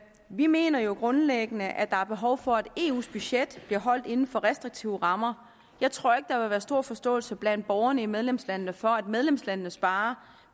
vi mener jo grundlæggende at der er behov for at eus budget bliver holdt inden for restriktive rammer jeg tror ikke der vil være stor forståelse blandt borgerne i medlemslandene for at medlemslandene sparer